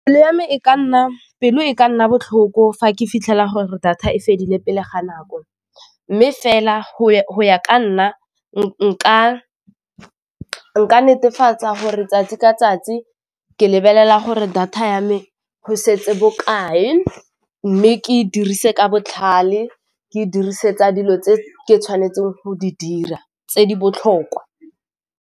Pelo e ka nna botlhoko fa ke fitlhela gore data e fedile pele ga nako, mme fela go ya ka nna nka netefatsa gore 'tsatsi ka 'tsatsi ke lebelela gore data ya me go setse bokae mme ke dirise ka botlhale ke dirisetsa dilo tse ke tshwanetseng go di dira tse di botlhokwa.